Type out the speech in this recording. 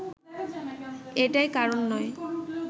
এটাই কারণ নয়